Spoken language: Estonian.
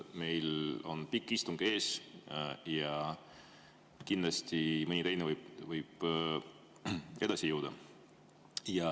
Meil on pikk istung ees ja mõni teine võib ette jõuda.